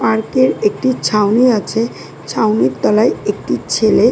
park এর একটি ছাউনি আছে ছাউনির তলায় একটি ছেলে--